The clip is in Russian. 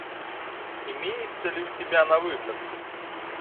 имеется ли у тебя на выход